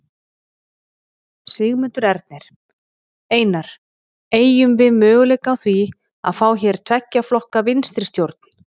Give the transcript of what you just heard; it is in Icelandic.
Sigmundur Ernir: Einar, eygjum við möguleika á því að fá hér tveggja flokka vinstristjórn?